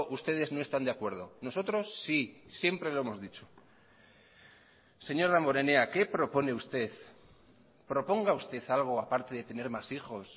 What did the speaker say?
ustedes no están de acuerdo nosotros sí siempre lo hemos dicho señor damborenea qué propone usted proponga usted algo a parte de tener más hijos